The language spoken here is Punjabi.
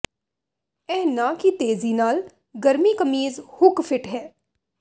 ਇਹ ਨਾ ਕਿ ਤੇਜ਼ੀ ਨਾਲ ਗਰਮੀ ਕਮੀਜ਼ ਹੁੱਕ ਫਿੱਟ ਹੈ